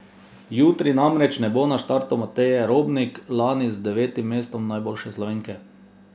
Jutri namreč ne bo na startu Mateje Robnik, lani z devetim mestom najboljše Slovenke.